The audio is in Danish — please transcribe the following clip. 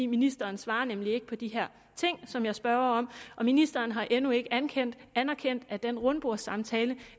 ministeren svarer nemlig ikke på de ting som jeg spørger om og ministeren har endnu ikke anerkendt anerkendt at den rundbordssamtale